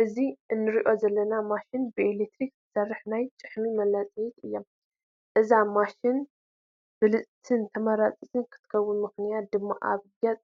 እዛ ንሪኣ ዘለና ማሽን ብኤለክትሪክ ትሰርሕ ናይ ጭሕሚ መላፀዪት እያ፡፡ እዛ ማሽን ብልፅትን ተመራፂትን ትኾነሙ ምኽንያት ድማ ኣብ ገፅ